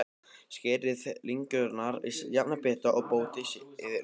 Skerið lengjurnar í jafna bita og mótið úr þeim bollur.